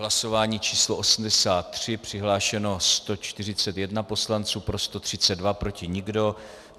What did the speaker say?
Hlasování číslo 83, přihlášeno 141 poslanců, pro 132, proti nikdo.